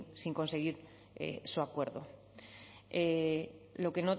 sin conseguir su acuerdo